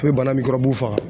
A bɛ bana faga.